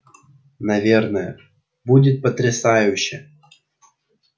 наверное будет потрясающе